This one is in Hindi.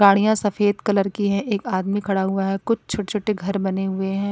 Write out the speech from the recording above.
गाड़ियां सफेद कलर की है एक आदमी खड़ा हुआ है कुछ छोटे-छोटे घर बने हुए हैं।